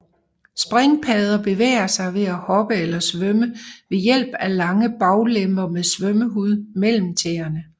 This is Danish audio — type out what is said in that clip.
Springpadder bevæger sig ved at hoppe eller svømme ved hjælp af lange baglemmer med svømmehud mellem tæerne